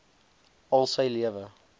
al sy lewende